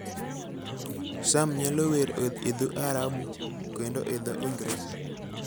Sam nyalo wer e dho Arabu, kendo e dho Ingresa.